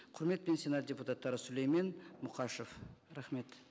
құрметпен сенат депутаттары сүлеймен мұқашев рахмет